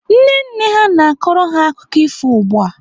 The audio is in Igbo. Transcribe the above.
Nne nne ha na-akọrọ ha akụkọ ifo ugbu a.